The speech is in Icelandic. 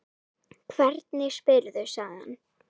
Hvernig spyrðu, sagði hann.